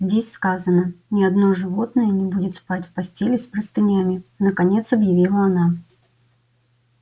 здесь сказано ни одно животное не будет спать в постели с простынями наконец объявила она